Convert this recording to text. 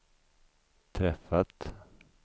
träffat